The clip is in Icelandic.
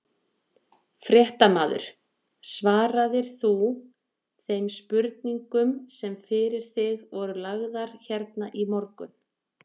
Fréttamaður: Svaraðir þú þeim spurningum sem fyrir þig voru lagðar hérna í morgun?